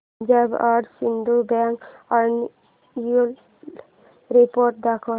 Punjab and Sind bank annual report दाखव